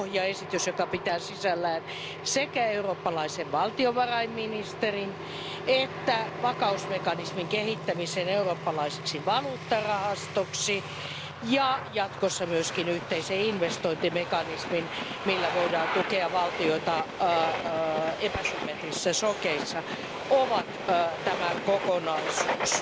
Pohjaesitys pitää sisällään sekä eurooppalaisen valtiovarainministerin että vakausmekanismin kehittämisen eurooppalaiseksi valuuttarahastoksi ja jatkossa myös yhteisen investointimekanismin, millä voidaan tukea valtioita epäsymmetrisissä shokeissa, ja siitä muodostuu tämä kokonaisuus.